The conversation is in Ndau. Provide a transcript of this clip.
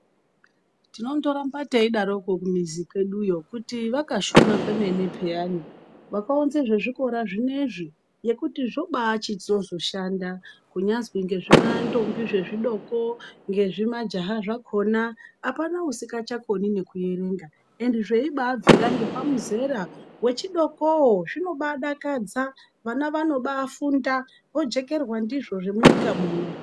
Tinondoramba teidaroko kumizi kweduyo kuti vakashuma kwemene pheyana vakaunza zvezvikora zvinezvi ngekuti zvobaachitozoshanda kuti nyazwi ngezvimantombi zvechidoko, ngezvimajaha zvakhona apana usingachakoni nekuerenga zveibabvira ngepamuzera wechidokoo . Zvinobaadakadza vana vanobaafunda , vojekerwa ndizvo zvemunyika muno.